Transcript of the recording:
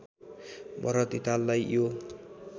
भरत धिताललाई यो